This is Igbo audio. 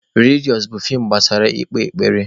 Rilijọn bụ feem gbasara ekpemekpe.